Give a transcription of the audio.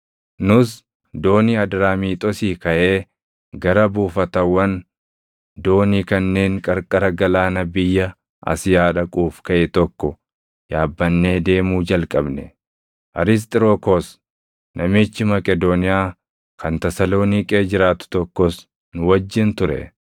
Nus doonii Adraamiixoosii kaʼee gara buufatawwan doonii kanneen qarqara galaana biyya Asiyaa dhaquuf kaʼe tokko yaabbannee deemuu jalqabne. Arisxirokoos namichi Maqedooniyaa kan Tasaloniiqee jiraatu tokkos nu wajjin ture.